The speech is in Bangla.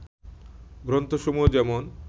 গ্রন্থসমূহ যেমন